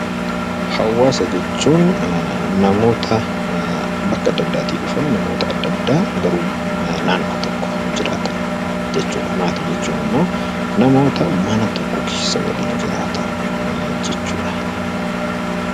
Hawaasa jechuun namoota bakka adda addaa dhufan garuu naannoo tokko jiraatan jechuudha. Maatii jechuun immoo namoota mana tokko keessa waliin jiraatan jechuudha.